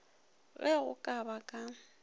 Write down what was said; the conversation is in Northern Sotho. ge go ka ba ka